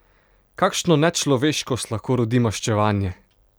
Kakšno nečloveškost lahko rodi maščevanje!